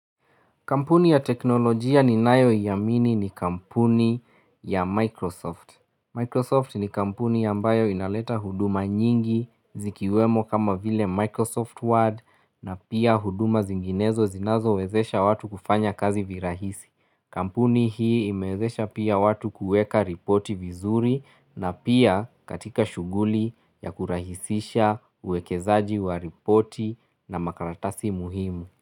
Kampuni ya teknolojia ninayoiamini ni kampuni ya Microsoft. Microsoft ni kampuni ambayo inaleta huduma nyingi zikiwemo kama vile Microsoft Word na pia huduma zinginezo zinazowezesha watu kufanya kazi virahisi. Kampuni hii imezesha pia watu kueka ripoti vizuri na pia katika shuguli ya kurahisisha uwekezaji wa ripoti na makaratasi muhimu.